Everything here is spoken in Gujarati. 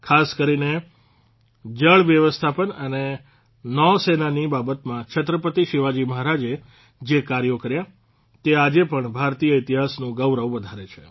ખાસ કરીને જળવ્યવસ્થાપન અને નૌસેનાની બાબતમાં છત્રપતિ શિવાજી મહારાજે જે કાર્યો કર્યા તે આજે પણ ભારતીય ઇતિહાસનું ગૌરવ વધારે છે